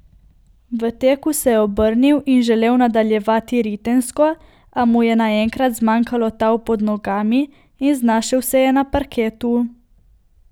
V teku se je obrnil in želel nadaljevati ritensko, a mu je naenkrat zmanjkalo tal pod nogami in znašel se je na parketu.